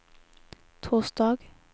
torsdag